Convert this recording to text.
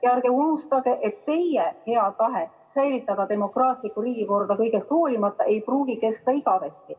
Ja ärge unustage, et teie hea tahe säilitada demokraatlikku riigikorda kõigest hoolimata ei pruugi kesta igavesti.